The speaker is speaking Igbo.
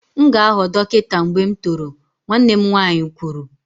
M ga-aghọ dọkịta mgbe m toro, nwanne m nwanyị kwuru